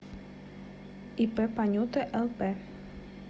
ип панюта лп